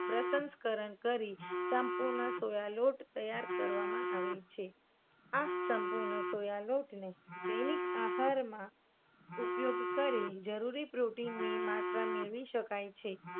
પ્રશાસકરણ કરી સંપૂર્ણ સોયા લોટ તૈયાર કરવામાં આવે છે. આ સંપૂર્ણ સોયા લોટને દૈનિક આહારમાં ઉપયોગ કરી જરૂરી protein ની માત્રા મેળવી શકાય છે.